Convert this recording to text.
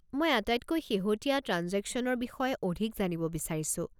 মই আটাইতকৈ শেহতীয়া ট্ৰাঞ্জেকশ্যনৰ বিষয়ে অধিক জানিব বিচাৰিছো।